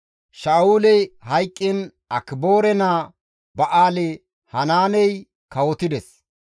Sha7uley hayqqiin Akiboore naa Ba7aali-Hanaaney kawotides.